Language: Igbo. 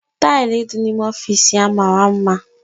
Tili di na-ime ọfịs ya mara mma.